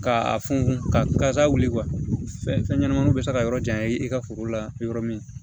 Ka a funfun kasa wuli fɛnɲɛnamaninw bɛ se ka yɔrɔ janya i ka foro la yɔrɔ min